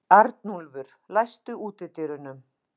Arnúlfur, læstu útidyrunum.